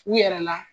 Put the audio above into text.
U yɛrɛ la